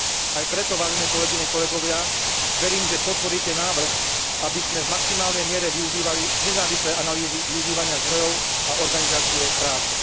Aj preto, vážené kolegyne, vážení kolegovia, verím, že podporíte návrh, aby sme v maximálnej miere využívali nezávislé analýzy využívania zdrojov a organizácie práce.